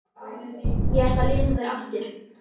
Ég ætla að lesa þær aftur.